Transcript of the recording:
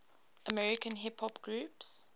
american hip hop groups